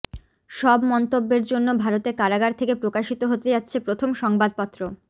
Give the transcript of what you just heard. সব মন্তব্যের জন্য ভারতে কারাগার থেকে প্রকাশিত হতে যাচ্ছে প্রথম সংবাদপত্র